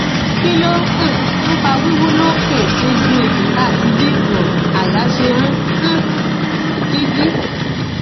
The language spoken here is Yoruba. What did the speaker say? kí ló um ń fa wiwu lo ke egun ejika àti bí um àyà ṣe ń um dí dí